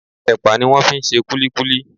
Ẹpa ni wón fi ń ṣe kulikuli.